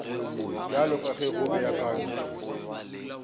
bjalo ka ge go beakantšwe